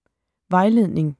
Vejledning: